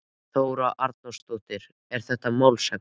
Þóra Arnórsdóttir: Er þetta málshöfðun?